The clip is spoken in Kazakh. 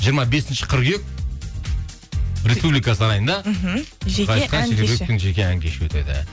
жиырма бесінші қыркүйек республика сарайында мхм ән кеші өтеді